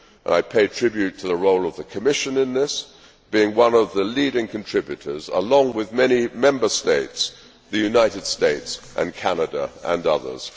I pay tribute to the role of the Commission in this, being one of the leading contributors along with many Member States, the United States, Canada and others.